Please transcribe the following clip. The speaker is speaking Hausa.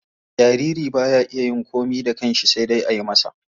Jariri ba sa iya yin komai da kansha sai dai ayi masa.